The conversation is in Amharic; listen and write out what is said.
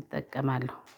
እጠቀማለሁ